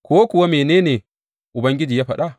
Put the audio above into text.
Ko kuwa mene ne Ubangiji ya faɗa?’